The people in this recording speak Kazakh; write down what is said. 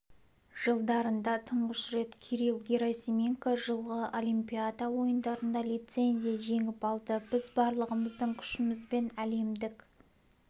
жылдарында тұңғыш рет кирилл герасименко жылғы олимпиада ойындарына лицензия жеңіп алды біз барлығымыздың күшімізбен әлемдік